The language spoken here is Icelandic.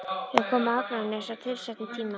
Við komum á Akranes á tilsettum tíma.